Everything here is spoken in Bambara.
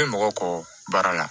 Bɛ mɔgɔ kɔ baara la